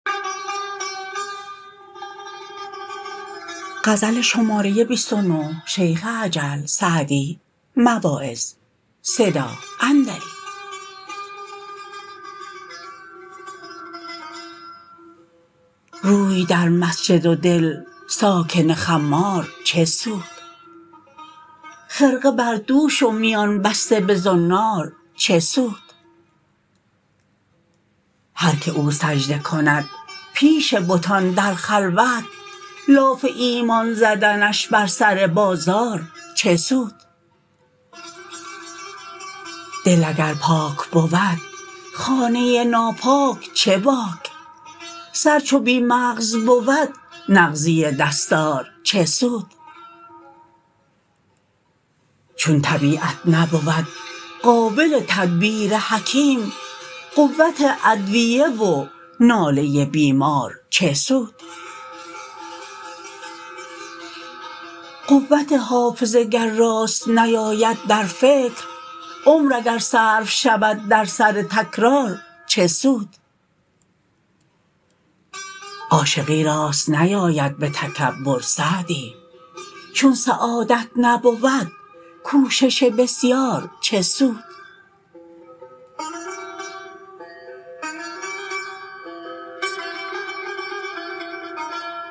روی در مسجد و دل ساکن خمار چه سود خرقه بر دوش و میان بسته به زنار چه سود هر که او سجده کند پیش بتان در خلوت لاف ایمان زدنش بر سر بازار چه سود دل اگر پاک بود خانه ناپاک چه باک سر چو بی مغز بود نغزی دستار چه سود چون طبیعت نبود قابل تدبیر حکیم قوت ادویه و ناله بیمار چه سود قوت حافظه گر راست نیاید در فکر عمر اگر صرف شود در سر تکرار چه سود عاشقی راست نیاید به تکبر سعدی چون سعادت نبود کوشش بسیار چه سود